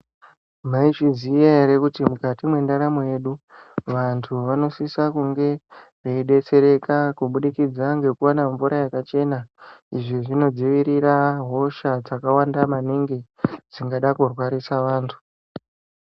Mwaizviziya ere kuti mukati mwendaramu yedu vantu vanosisa kunge veidetsereka kubudikidza ngekuwana mvura yakachena izvi zvinodzivirira hosha dzakawanda maningi dzingada kurwarisa vantu.